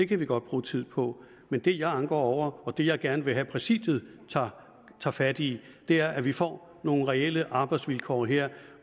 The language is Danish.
kan vi godt bruge tid på men det jeg anker over og det jeg gerne vil have at præsidiet tager fat i er at vi får nogle reelle arbejdsvilkår her